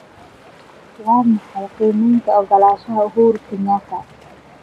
Waa maxay qiimeynta oggolaanshaha uhuru kenyatta?